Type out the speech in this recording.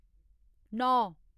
नौ